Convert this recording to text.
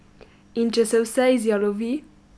In če se vse izjalovi?